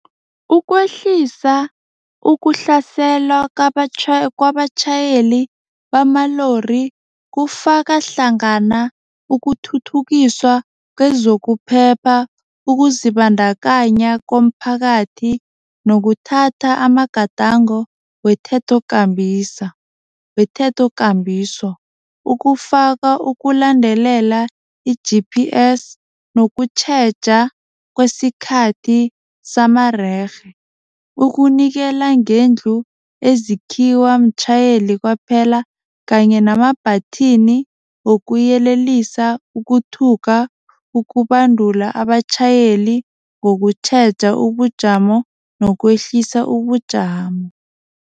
Ukwehlisa ukuhlaselwa kwabatjhayeli bamalori, kufaka hlangana ukuthuthukiswa kwezokuphepha, ukuzibandakanya komphakathi nokuthatha amagadango wethethokambiso ukufaka ukulandelela i-G_P_S nokutjheja kwesikhathi samarerhe, ukunikela ngendlu ezikhiyiwa mtjhayeli kwaphela kanye namabhathini wokuyelelisa ukuthuka, ukubandula abatjhayeli ngokutjheja ubujamo nokwehlisa ubujamo.